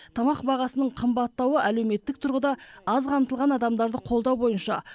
тамақ бағасының қымбаттауы әлеуметтік тұрғыда аз қамтылған адамдарды қолдау бойынша